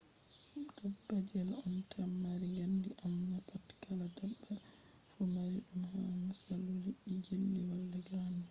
dabbaji on tan mari gandi amma na pat kala dabba fu mari dum ba; musalu liddi jelly wala gandi